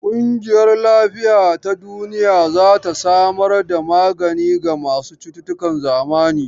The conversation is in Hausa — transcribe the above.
ƙungiyar Lafiya ta Duniya za ta samar da magani ga masu cututtukan zamani.